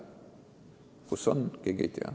Kus ta on, keegi ei tea.